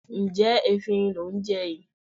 Ǹjẹ́ efinrin lò ń jẹ yìí?